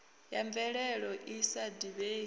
ya mvelelo i sa divhei